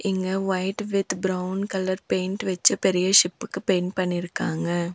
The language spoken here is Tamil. இங்க white with brown colour paint வெச்சு பெரிய ஷிப்புக்கு பெயிண்ட் பண்ணிருக்காங்க.